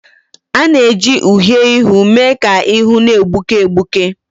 A na-eji uhiè ihu mee ka ihu na-egbuke egbuke